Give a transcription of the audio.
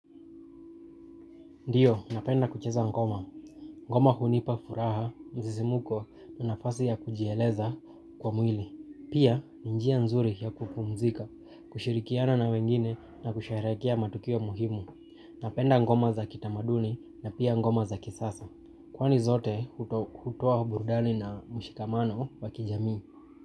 Ndiyo, napenda kucheza ngoma. Ngoma hunipa furaha, msisiimuko na nafasi ya kujieleza kwa mwili. Pia, ni njia nzuri ya kupumzika, kushirikiana na wengine na kusherehekea matukio muhimu. Napenda ngoma za kitamaduni na pia ngoma za kisasa. Kwani zote, hutoa burdani na mshikamano wakijamii.